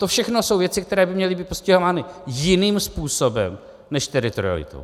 To všechno jsou věci, které by měly být postihovány jiným způsobem než teritorialitou.